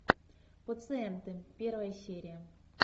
пациенты первая серия